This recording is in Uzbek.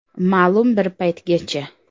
Ma’lum bir paytgacha.